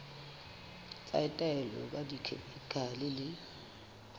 tsa taolo ka dikhemikhale le